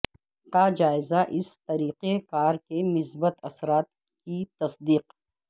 کا جائزہ اس طریقہ کار کے مثبت اثرات کی تصدیق